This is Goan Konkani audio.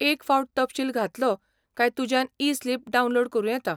एक फावट तपशील घातलो काय तुज्यान ई स्लिप डावनलोड करूं येता.